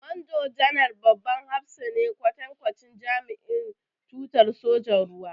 Manjo-janar babban hafsa ne, kwatankwacin jami'in tutar sojan ruwa.